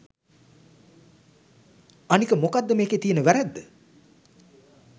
අනික මොකද්ද මෙකේ තියෙන වැරැද්ද